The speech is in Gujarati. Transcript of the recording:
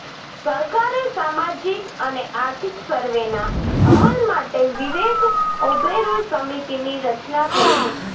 સરકારે સામાજિક અને આર્થિક સર્વેના અમલ માટે વિવેક ઓબેરોય સમિતિની રચના કરી હતી